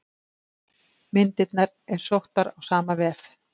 Myndirnar er sóttar á sama vef.